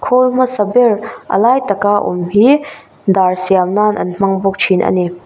khawl hmasa ber a lai tak a awm hi dar siam nan an hmang bawk thin a ni.